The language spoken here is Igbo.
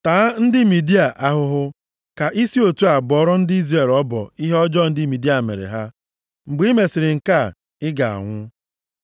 “Taa ndị Midia ahụhụ, ka i si otu a bọọrọ ndị Izrel ọbọ ihe ọjọọ ndị Midia mere ha. Mgbe i mesịrị nke a, ị ga-anwụ.”